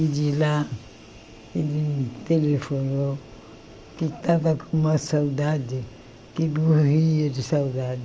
E de lá ele me telefonou, que tava com uma saudade, que morria de saudade.